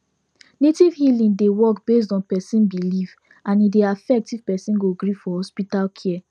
native healing dey work based on person belief and e dey affect if person go gree for hospital care